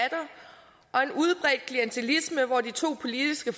og med en udbredt klientilisme hvor de to politiske